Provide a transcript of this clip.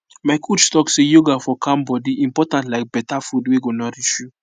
my coach talk say yoga for calm body important like better food wey go nourish you